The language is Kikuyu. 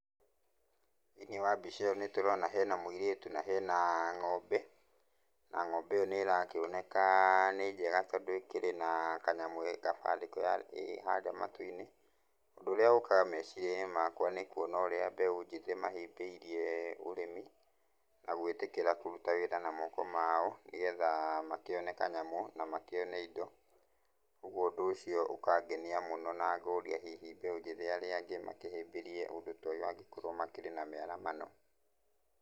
Thĩiniĩ wa mbica ĩyo nĩtũrona hena mũirĩtu na hena ng'ombe na ng'ombe ĩyo nĩĩrakĩoneka nĩ njega tondũ ĩkĩrĩ na kanyamũ gabandĩko ĩ harĩa matũ-inĩ. ũndũ ũrĩa ũkaga meciria-inĩ makwa nĩ kũona ũrĩa mbeũ njĩthĩ mahĩmbĩirie ũrĩmi na gũĩtĩkĩra kũrũta wĩra na moko mao nĩgetha makĩone kanyamũ na makĩone indo, kogwo ũndũ ũcio ũkangenia mũno na ngoria hihi mbeu njĩthĩ arĩa angĩ makĩhĩmbĩrie ũndũ ta ũyũ angĩkorwo makĩrĩ na mĩaramano.